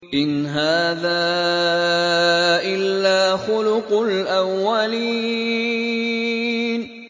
إِنْ هَٰذَا إِلَّا خُلُقُ الْأَوَّلِينَ